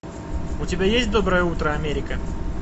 у тебя есть доброе утро америка